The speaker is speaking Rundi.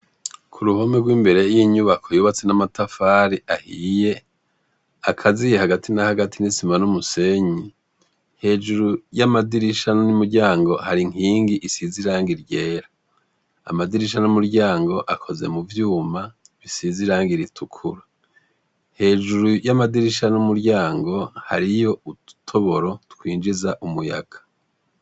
Ku ruhome rw'imbere yinyubako yubatse n'amatafari ahiye, akaziye hagati n'ahagati n'isima n'umusenyi. Hejuru y'amadirisha n'umuryango har'inkingi isize rangi ryera. Amadirisha n'umuryango akoze mu vyuma bisiz irangi ritukura. Hejuru y'amadirisha n'umuryango, hariyo udutoboro twinjiza umuyaga.